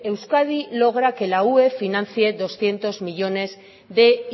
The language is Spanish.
euskadi logra que la ue financie doscientos millónes de